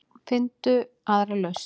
Finndu aðra lausn.